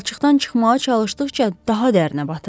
Palçıqdan çıxmağa çalışdıqca daha dərinə batırdı.